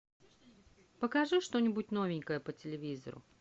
покажи что нибудь новенькое по телевизору